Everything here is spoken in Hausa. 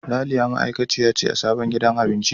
Ralia ma'aikaciya ce a sabon gidan abincin.